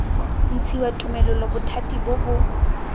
ntshiwa tumelelo bothati bo bo